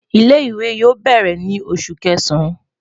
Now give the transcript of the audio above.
Ile-iwe yoo bẹrẹ ni Oṣu Kẹsan